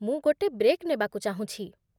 ମୁଁ ଗୋଟେ ବ୍ରେକ୍ ନେବାକୁ ଚାହୁଁଛି ।